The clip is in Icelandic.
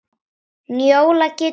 Njóla getur átt við